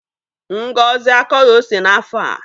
Ngozi akọghị ose n'afọ a.